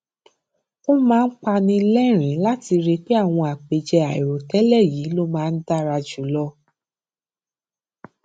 ó máa ń pani lẹrìnín láti rí i pé àwọn àpèjẹ àìròtẹlẹ yìí ló máa ń dára jù lọ